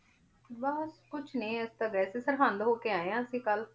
ਬਸ ਕੁਛ ਨੀ ਅਸੀਂ ਤਾਂ ਗਏ ਸੀ ਸਰਹੰਦ ਹੋ ਕੇ ਆਏ ਹਾਂ ਅਸੀਂ ਕੱਲ੍ਹ